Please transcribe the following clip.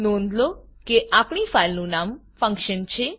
નોંધલો કે આપણી ફાઈલનું નામ ફંક્શન છે